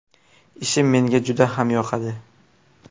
Ishim menga juda ham yoqadi.